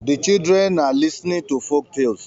The children are listenig to folk talles